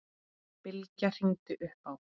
Bylgja hringdi upp á